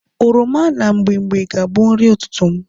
Oroma na mgbimgbi ga-abu nri ututu m